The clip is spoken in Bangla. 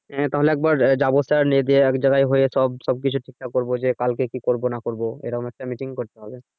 তাহলে একবার আহ যাবো sir যেয়ে এক জায়গায় হয়ে সব সবকিছু ঠিকঠাক করব যে কালকে কি করব না করব এরকম একটা meeting করতে হবে।